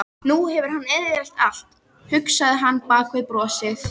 Nú hefur hann eyðilagt allt, hugsaði hann bak við brosið.